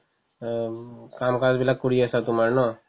অম্, কাম-কাজবিলাক কৰি আছা তোমাৰ ন